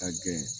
Ka gɛn